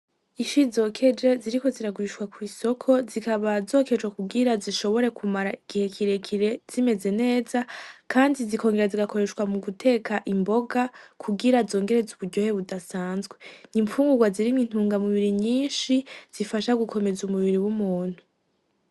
Ifi zokeje ziriko ziragurishwa kw'isoko. Zikaba zokejwe kugira zishobore kumara igihe kirekire zimeze neza, kandi zikongera zigakoreshwa mu guteka imboga kugira zongereze uburyohe budasanzwe. N'imfungugwa zirimwo intungamubiri nyinshi zifasha gukomeza umubiri bw'umuntu.